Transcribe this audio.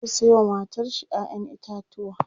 zai Sayo wa matar shi ƴaƴan itatauwa